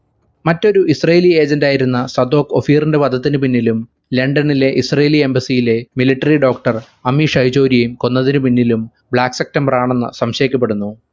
മറ്റൊരു israeli agent ആയിരുന്ന Zadok ഒഫീറിന്റെ വധത്തിനു പിന്നിലും ലണ്ടനിലെ israeli embassy യിലെ military doctor അമീശയ്ചോരിയേം കൊന്നതിനു പിന്നിലും black september ആണെന്ന് സംശയിക്കപ്പെടുന്നു